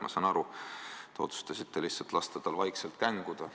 Ma saan aru, te otsustasite lihtsalt lasta tal vaikselt känguda.